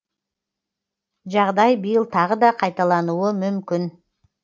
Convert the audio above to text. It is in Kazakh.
жағдай биыл тағы қайталануы мүмкін